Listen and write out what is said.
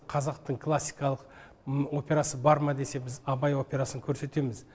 қазақтың классикалық операсы бар ма десе біз абай операсын көрсетеміз